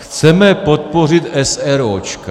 Chceme podpořit eseróčka.